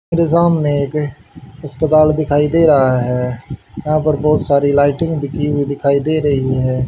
मेरे सामने एक अस्पताल दिखाई दे रहा है यहां पर बहोत सारी लाइटिंग भी की हुई दिखाई दे रही है।